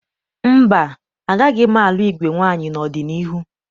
Mba, agaghị m alụ igwe nwaanyị n'ọdịniihu